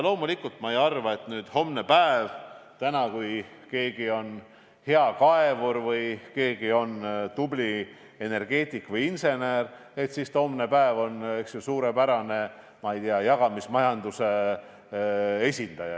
Loomulikult ma ei arva, et kui keegi on praegu hea kaevur, tubli energeetik või insener, siis on ta hommepäev näiteks suurepärane jagamismajanduse esindaja.